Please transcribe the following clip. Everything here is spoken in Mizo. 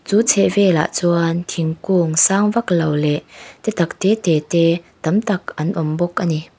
chu chhehvelah chuan thingkung sang vaklo leh te tak tete te tam tak an awm bawk ani.